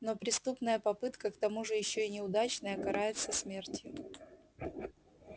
но преступная попытка к тому же ещё и неудачная карается смертью